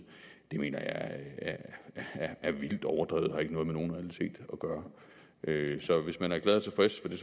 mener jeg er vildt overdrevet og ikke har noget med nogen realitet at gøre så hvis man er glad og tilfreds med